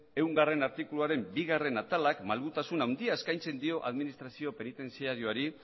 ehungarrena artikuluaren bigarrena atalak malgutasun handia eskaintzen dio administrazio penitentziarioari